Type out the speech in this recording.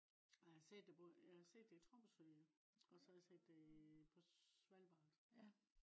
ja jeg har set det både. jeg har set det i tromsø også har jeg set det i øh på svalbard